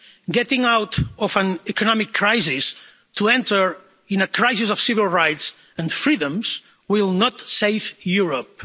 Getting out of an economic crisis to enter into a crisis of civil rights and freedoms will not save Europe.